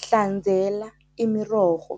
Hlanzela imirorho